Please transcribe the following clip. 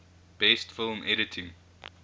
best film editing